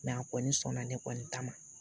a kɔni sɔnna ne kɔni ta ma